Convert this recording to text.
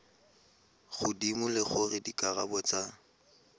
godimo le gore dikarabo tsa